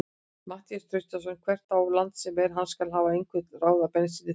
Matthías Traustason hvert á land sem er, hann skal hafa einhver ráð ef bensínið þrýtur.